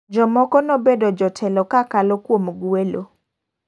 Jomoko nobedo jotelo kakalo kuom gwelo.